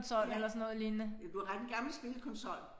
Ja. Ja du har ret en gammel spilkonsol